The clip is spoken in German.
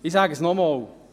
Ich sage es nochmals: